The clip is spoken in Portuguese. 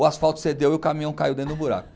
O asfalto cedeu e o caminhão caiu dentro do buraco.